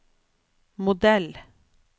modell